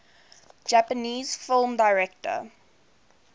japanese film directors